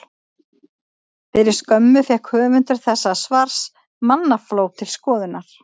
Fyrir skömmu fékk höfundur þessa svars mannafló til skoðunar.